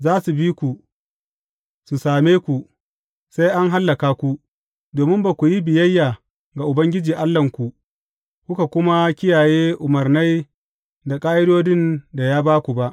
Za su bi ku, su same ku, sai an hallaka ku, domin ba ku yi biyayya ga Ubangiji Allahnku, kuka kuma kiyaye umarnai da ƙa’idodin da ya ba ku ba.